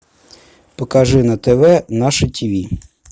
покажи на тв наше тв